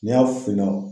N'i y'a finna